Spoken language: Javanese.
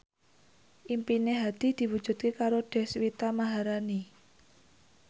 impine Hadi diwujudke karo Deswita Maharani